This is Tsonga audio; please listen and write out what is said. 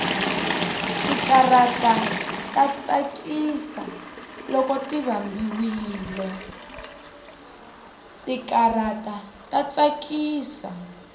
tikatara ta tsakisa loko ti vambiwile